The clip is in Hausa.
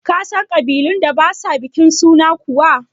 Ka san ƙabilun da ba sa bikin suna kuwa?